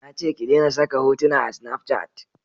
Na ce ki dena saka hotuna a snafcat